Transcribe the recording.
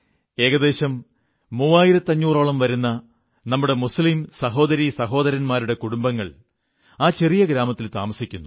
ഏകദേശം 3500ഓളം വരുന്ന നമ്മുടെ മുസ്ലീം സഹോദരീ സഹോദരന്മാരുടെ കുടുംബങ്ങൾ ആ ചെറിയ ഗ്രാമത്തിൽ താമസിക്കുന്നു